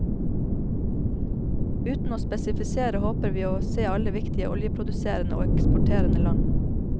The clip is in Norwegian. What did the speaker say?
Uten å spesifisere, håper vi å se alle viktige oljeproduserende og eksporterende land.